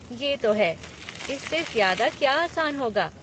ये तो है! इससे ज़्यादा क्या आसान होगा।